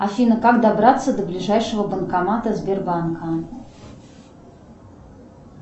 афина как добраться до ближайшего банкомата сбербанка